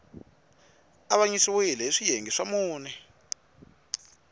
avanyisiwile hi swiyenge swa mune